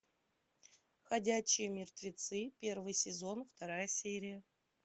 ходячие мертвецы первый сезон вторая серия